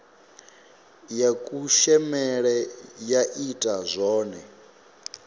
ya kushemele ya ita zwone